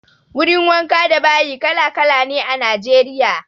Wurin wanka da bayi kala-kala ne a Najeriya.